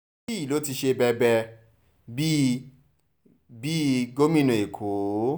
níbí yìí ló ti ṣe bẹbẹ bíi bíi gómìnà èkó